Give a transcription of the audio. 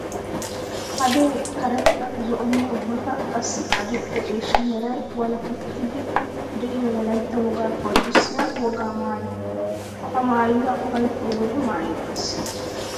Hadee karetta zo'onne ubbakka qassi adli'ee ciishsha meray walakkettiddi de'iyo wolaytta wogaa qonccissiya wogaa maayo. Ha maayuwa ufayttiyo wode maayeettes.